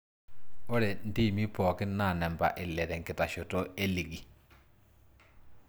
Ore ntiimi pooki naa namba ile tenkitasheto e ligi.